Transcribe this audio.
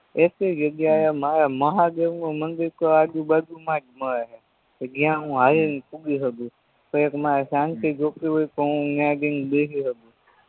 જગ્યાએ મારા મહાદેવનું મંદિરતો આજુ બાજુમાં જ મળે હે કે જ્યાં હું હાલીને પુગી સકુ કયેક મારે શાંતિ જોતી હોય તો ન્યા જયને હું બેહી સકુ